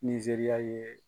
Nizeriya ye.